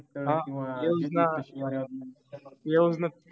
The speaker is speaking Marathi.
हा योजना योजना